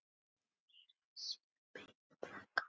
Heyra í sínum beinum braka.